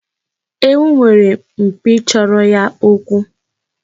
Ewu nwere mpi chọrọ ya okwu.